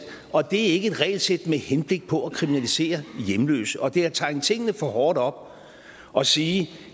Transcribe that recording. og det er ikke et regelsæt med henblik på at kriminalisere hjemløse og det er at tegne tingene for hårdt op at sige